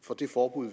for det forbud